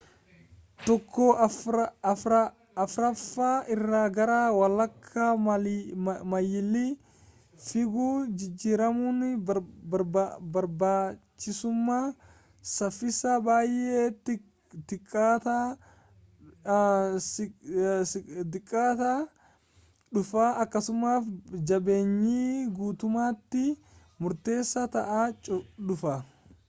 tokko afraffaa irra gara walakaa maayili figuu jijjiiramuun barbaachisumaa saffisaa baay'ee xiqqaataa dhufa akkasumas jabeenyi guutumatti murteessaa ta'aa dhufa